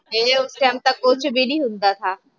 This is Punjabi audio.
ਏ ਉਸ ਟਾਈਮ ਤਾਂ ਕੁੱਛ ਵੀ ਨੀ ਹੁੰਦਾ ਥਾ